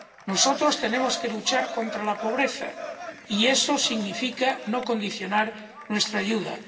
Nosotros tenemos que luchar contra la pobreza, y eso significa no condicionar nuestra ayuda.